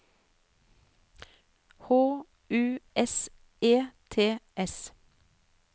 H U S E T S